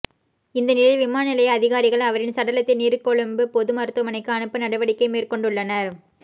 இந்நிலையில் விமான நிலைய அதிகாரிகள் அவரின் சடலத்தை நீர்கொழும்பு பொது மருத்துவமனைக்கு அனுப்ப நடவடிக்கை மேற்கொண்டுள்ளனர்